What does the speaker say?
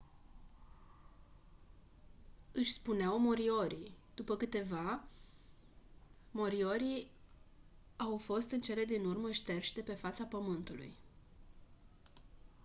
își spuneau moriori după câteva moriori au fost în cele din urmă șterși de pe fața pământului